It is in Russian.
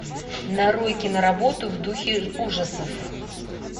нарой киноработу в духе ужасов